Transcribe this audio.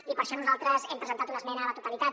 i per això nosaltres hem presentat una esmena a la totalitat